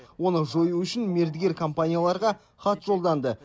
оны жою үшін мердігер компанияларға хат жолданды